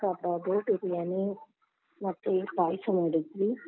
ಕಬಾಬು, ಬಿರಿಯಾನಿ ಮತ್ತೆ ಪಾಯ್ಸ ಮಾಡಿದ್ವಿ.